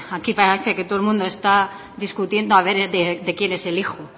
aquí parece que todo el mundo está discutiendo a ver de quién es el hijo